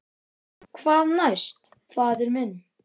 Hvað næst, faðir minn?